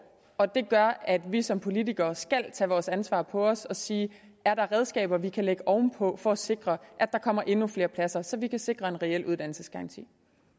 og det gør at vi som politikere skal tage vores ansvar på os og sige er der redskaber vi kan lægge oven på for at sikre at der kommer endnu flere pladser så vi kan sikre en reel uddannelsesgaranti